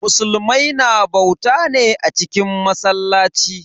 Musulmai na bauta ne a cikin masallaci.